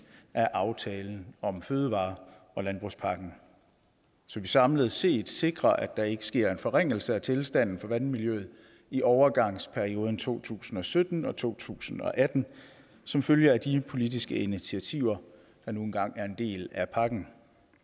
af aftalen om fødevare og landbrugspakken så vi samlet set sikrer at der ikke sker en forringelse af tilstanden for vandmiljøet i overgangsperioden fra to tusind og sytten til to tusind og atten som følge af de politiske initiativer der nu engang er en del af pakken